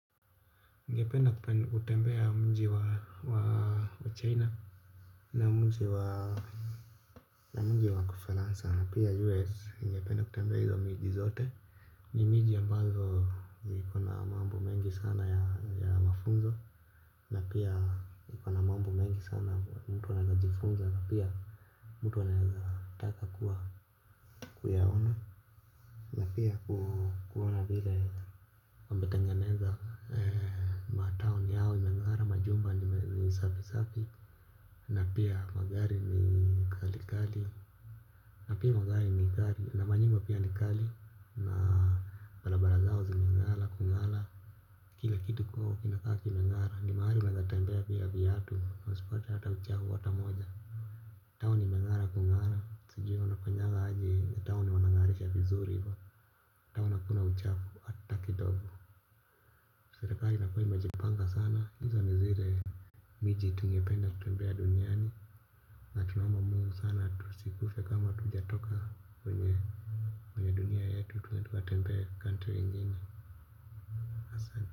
Ningependa kutembea mji wa China na mji wa Ufaransa na pia US ningependa kutembea hizo miji zote. Ni miji ambazo iko na mambo mengi sana ya mafunzo. Na pia iko na mambo mengi sana mtu anajifunza na pia mtu anaezataka kuwa kuyaona na pia kuona vile. Imetengenezwa ee ma town yao imeng'ara majumba ni safi safi na pia magari ni kali kali na pia magari ni kali na manyumba pia ni kali na barabara zao zimeng'ara kung'ara kila kitu kwao kinakaa kimeng'ara ni mahali unaeza tembea bila vyatu na usipate hata uchafu hata moja town imeng'ara kung'ara sijui wanafanyangaje town wanang'arisha vizuri hivo. Town hakuna uchafu hata kidogo. Serikali inakuwa imejipanga sana, hizo ni zile miji tungependa kutembea duniani na tunaomba Mungu sana tusikufe kama hatujatoka kwenye dunia yetu twende tukatembee country ingine.